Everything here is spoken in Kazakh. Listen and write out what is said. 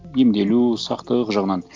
емделу сақтық жағынан